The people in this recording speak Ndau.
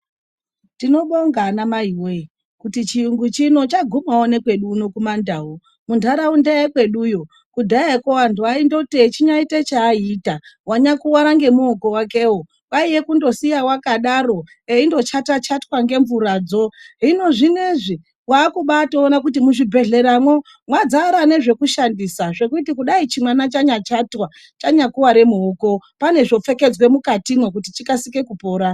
Tinobonga anamaimwi kuti chiyungu chino chagumawo nekwedu uno kumandau. Munharaunda yekweduyo, kudhayako vanhu vaindoti echinyaita chaaiyita wanyakuwara ngemuoko wakewo kwaiye kundosiya wakadaro eindochata chatwa ngemvuradzo. Hino zvinezvi, wakubatoona kuti muzvibhedhleramwo mwadzara nezvekushandisa. Zvekuti kudai chimwana chanyachatya chanyakuwara muoko pane zvopfekedzwa mukatimwo kuti chikasike kupora.